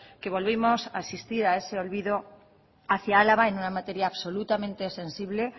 que volvemos a asistir a ese olvido hacia álava en una materia absolutamente sensible